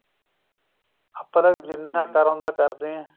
ਆਪਾਂ ਤਾਂ ਜਿੰਨਾ ਕਰ ਉੰਨਾ ਕਰਦੇ ਆ